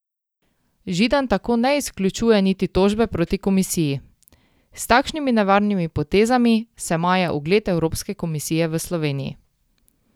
Židan tako ne izključuje niti tožbe proti komisiji: 'S takšnimi nevarnimi potezami se maje ugled Evropske komisije v Sloveniji.